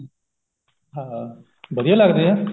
ਹਾਂ ਵਧੀਆ ਲਗਦੇ ਆ